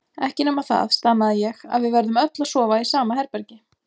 Ekki nema það, stamaði ég, að við verðum öll að sofa í sama herbergi.